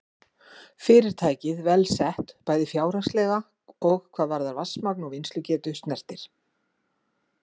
Fyrirtækið vel sett, bæði fjárhagslega og hvað vatnsmagn og vinnslugetu snertir.